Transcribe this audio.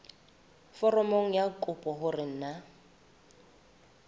foromong ya kopo hore na